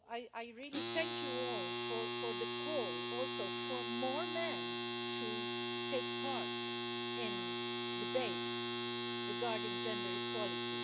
I really thank you all for the call also for more men to take part in debates regarding gender equality.